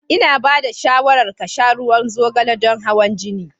Ina ba da shawarar ka sha ruwan zogale don hawan jini.